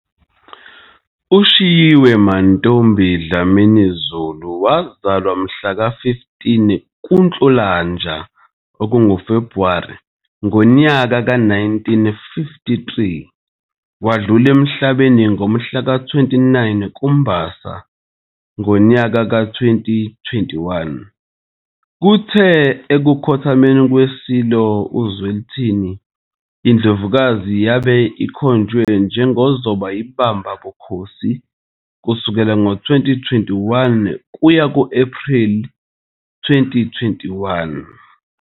UShiyiwe Mantfombi Dlamini Zulu wazalwa mhlaka 15 kuNhlolanja, February, ngonyaka ka-1953 wadlula emhlabeni mhlaka 29 kuMbasa ngonyaka ka- 2021. Kuthe ekukhothameni kweSilo uZwelithini iNdlovukazi yabe ikhonjwe njengozoba iBamba bukhosi kusukela ngoMashi 2021 kuya ku-Ephreli 2021.